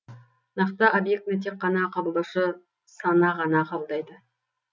нақты объектіні тек қана қабылдаушы сана ғана қабылдайды